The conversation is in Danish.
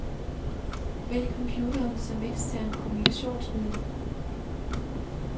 Vælg computeren som eksternt kommunikationsmiddel.